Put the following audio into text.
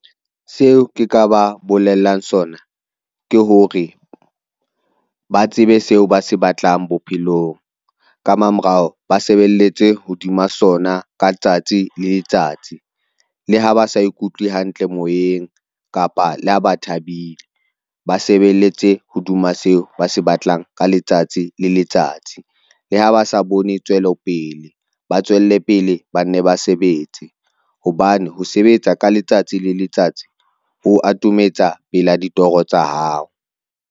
Seo ke ka ba bolellang sona ke hore ba tsebe seo ba se batlang bophelong ka mamorao, ba sebelletse hodima sona ka letsatsi le letsatsi, le ha ba sa ikutlwe hantle moyeng kapa le ha ba thabile. Ba sebeletse hodima seo ba se batlang ka letsatsi le letsatsi, le ha ba sa bone tswelopele, ba tswelle pele banne ba sebetse hobane ho sebetsa ka letsatsi le letsatsi ho atometsa pela ditoro tsa hao.